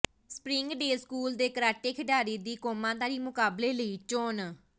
Springdale school ਦੇ karate ਖਿਡਾਰੀ ਦੀ ਕੌਮਾਂਤਰੀ ਮੁਕਾਬਲੇ ਲਈ ਚੋਣ